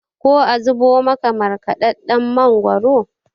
ko a zubo maka markadadden mangoro?